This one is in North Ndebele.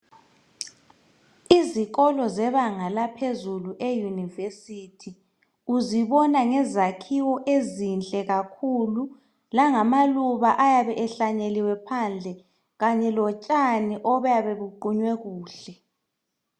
Izikolo zebanga laphezulu euniversity .Uzibona ngezakhiwo ezinhle kakhulu .Langamaluba ayabe ehlanyeliwe phandle .Kanye lotshani obuyabe buqunywe kuhle .